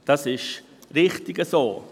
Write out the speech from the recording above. Das ist richtig so.